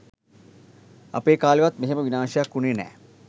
අපේ කාලෙවත් මෙහෙම විනාසයක් වුනේ නෑ